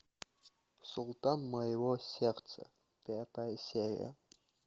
султан моего сердца пятая серия